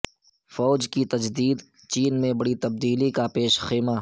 فوج کی تجدید چین میں بڑی تبدیلی کا پیش خیمہ